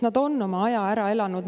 Nad on oma aja ära elanud.